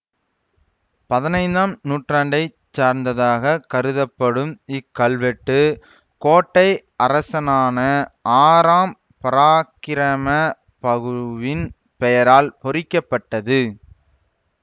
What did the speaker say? பதினைந்தாம் நூற்றாண்டை சார்ந்ததாகக் கருதப்படும் இக்கல்வெட்டு கோட்டை அரசனான ஆறாம் பராக்கிரமபகுவின் பெயரால் பொறிக்கப்பட்டது